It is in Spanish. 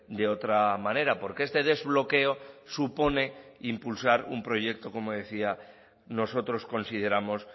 de otra manera porque este desbloqueo supone impulsar un proyecto como decía nosotros consideramos